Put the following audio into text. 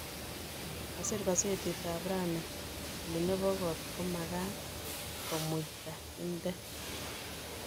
Kasir kasetit ap rani kole nepo kot komakat komuitaindet.